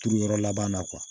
Turu yɔrɔ laban na